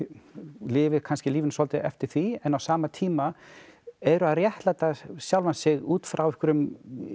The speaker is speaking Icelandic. lifir kannski lífinu svolítið eftir því en á sama tíma eru að réttlæta sjálfan sig út frá einhverjum